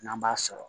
N'an b'a sɔrɔ